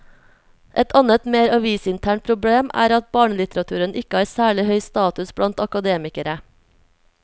Et annet, mer avisinternt problem er at barnelitteraturen ikke har særlig høy status blant akademikere.